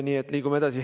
Nii et liigume edasi.